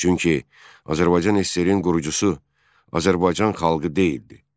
Çünki Azərbaycan SSR-in qurucusu Azərbaycan xalqı deyildi.